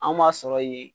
An m'a sɔrɔ yen